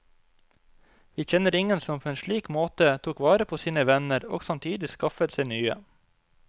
Vi kjenner ingen som på en slik måte tok vare på sine venner og samtidig skaffet seg nye.